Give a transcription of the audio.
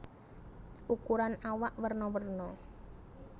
Ukuran awak werna werna